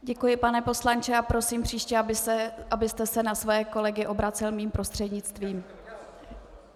Děkuji, pane poslanče, a prosím příště, abyste se na své kolegy obracel mým prostřednictvím.